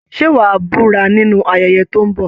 Ṣé wà a búra nínú ayẹyẹ tó ń bọ̀?